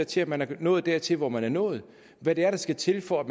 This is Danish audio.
til at man er nået dertil hvor man er nået hvad det er der skal til for at